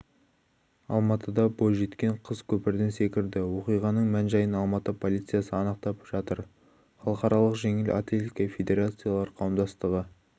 алматыда бойжеткен қыз көпірден секірді оқиғаның мән-жайын алматы полициясы анықтап жатыр халықаралық жеңіл атлетика федерациялар қауымдастығы